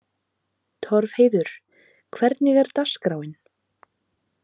Torfheiður, hvernig er dagskráin?